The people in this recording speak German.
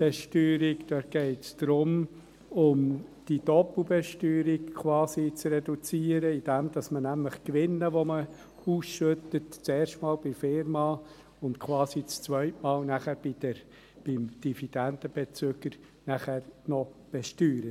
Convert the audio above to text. Dividendenbesteuerung geht es darum, quasi die Doppelbesteuerung zu reduzieren, indem man nämlich die Gewinne, die man ausschüttet, zuerst einmal in der Firma und quasi ein zweites Mal nachher auch noch beim Dividendenbezüger besteuert.